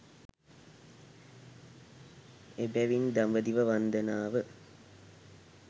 එබැවින් දඹදිව වන්දනාව